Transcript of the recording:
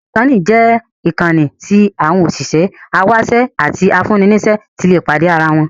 Linkedin jẹ́ ìkànnì tí àwọn òṣìṣẹ́, awáṣẹ́ àti afúnni-níṣẹ́ ti lè pàdé ara wọn.